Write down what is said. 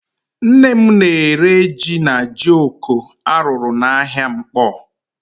Nne m na-ere jí na jioko a rụrụ n'ahịa Nkpọ.